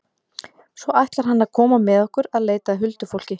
Svo ætlar hann að koma með okkur að leita að huldufólki.